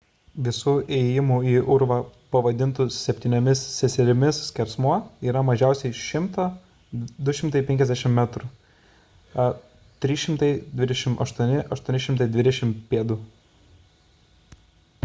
visų įėjimų į urvą pavadintų septyniomis seserimis skersmuo yra mažiausiai 100–250 metrų 328–820 pėd.